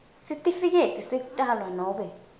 sitifiketi sekutalwa nobe